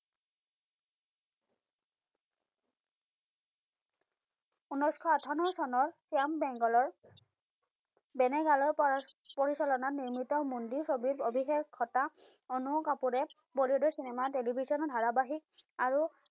উনৈশ-আঠৱন্ন চনৰ শ্যামবেংগলৰ বেনাগালৰ পৰা পৰিচালনত নিৰ্মিত মন্দি ছবিত অভিষেক ঘটা অনু কাপুৰে বলিউডৰ চিনেমাত television ৰ ধাৰাবাহিক আৰু